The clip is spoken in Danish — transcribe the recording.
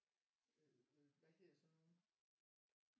Øh hvad hedder sådan nogle